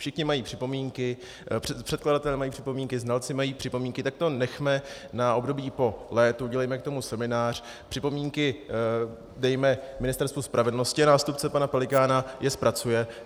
Všichni mají připomínky, předkladatelé mají připomínky, znalci mají připomínky, tak to nechejme na období po létu, udělejme k tomu seminář, připomínky dejme Ministerstvu spravedlnosti a nástupce pana Pelikána je zpracuje.